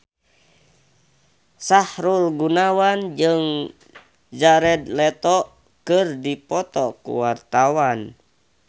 Sahrul Gunawan jeung Jared Leto keur dipoto ku wartawan